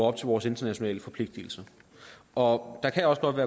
op til vores internationale forpligtelser og der kan også godt